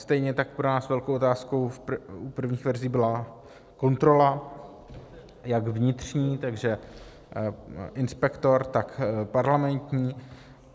Stejně tak pro nás velkou otázkou v prvních verzích byla kontrola, jak vnitřní, takže inspektor, tak parlamentní.